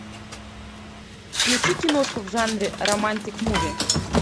включи киношку в жанре романтик муви